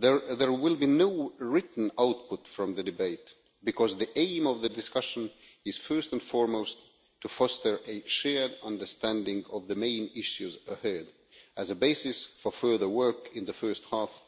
There will be no written output from the debate because the aim of the discussion is first and foremost to foster a shared understanding of the main issues ahead, as a basis for further work in the first half